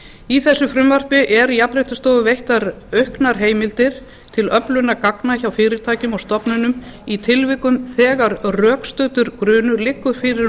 í þessu frumvarpi eru jafnréttisstofu veittar auknar heimildir til öflunar gagna hjá fyrirtækjum og stofnunum í tilvikum þegar rökstuddur grunur liggur fyrir um